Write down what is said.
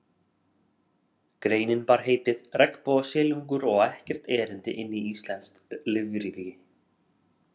Greinin bar heitið: Regnbogasilungur á ekkert erindi inn í íslenskt lífríki